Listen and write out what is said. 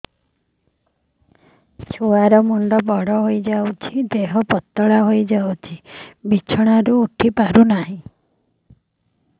ଛୁଆ ର ମୁଣ୍ଡ ବଡ ହୋଇଯାଉଛି ଦେହ ପତଳା ହୋଇଯାଉଛି ବିଛଣାରୁ ଉଠି ପାରୁନାହିଁ